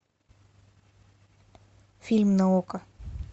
фильм на окко